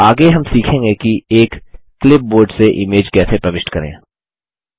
आगे हम सीखेंगे कि एक क्लिपबोर्ड से इमेज कैसे प्रविष्ट करें